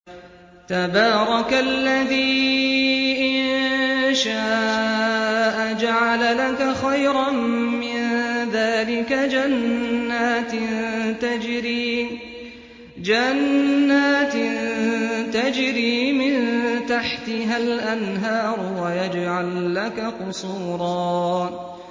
تَبَارَكَ الَّذِي إِن شَاءَ جَعَلَ لَكَ خَيْرًا مِّن ذَٰلِكَ جَنَّاتٍ تَجْرِي مِن تَحْتِهَا الْأَنْهَارُ وَيَجْعَل لَّكَ قُصُورًا